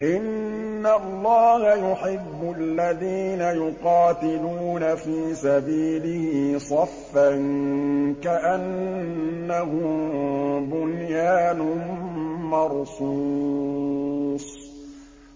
إِنَّ اللَّهَ يُحِبُّ الَّذِينَ يُقَاتِلُونَ فِي سَبِيلِهِ صَفًّا كَأَنَّهُم بُنْيَانٌ مَّرْصُوصٌ